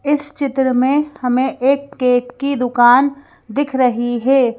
इस चित्र में हमें एक केक की दुकान दिख रही है।